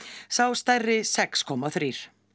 sá stærri sex komma þrjú